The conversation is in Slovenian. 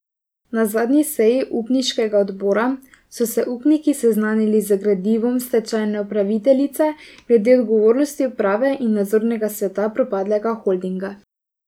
Na zadnji seji upniškega odbora so se upniki seznanili z gradivom stečajne upraviteljice glede odgovornosti uprave in nadzornega sveta propadlega holdinga.